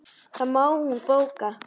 Það má hún bóka.